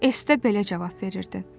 Es də belə cavab verirdi.